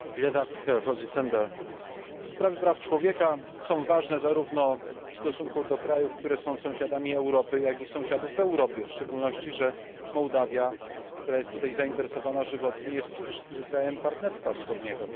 Panie Przewodniczący! Sprawy praw człowieka są ważne zarówno w stosunku do krajów, które są sąsiadami Europy, jak i sąsiadów w Europie, zwłaszcza że Mołdawia, która tutaj jest zainteresowana żywotnie, jest przecież krajem Partnerstwa Wschodniego.